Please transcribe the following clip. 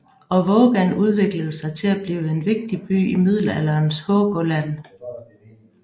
Og Vågan udviklede sig til at blive en vigtig by i middelalderens Hålogaland